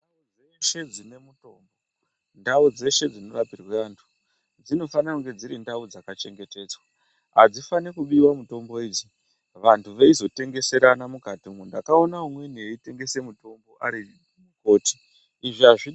Ndau dzeshe dzine mutombo ndau dzeshe dzinorapirwa antu dzinofanira kunge dziri ndau dzakachengetedzwa. Hadzifani kubiva mitombo idzi vantu veizotengeserana mukati umu ndakaona umweni eitengese mitombo ari mukoti izvi hazvidivi.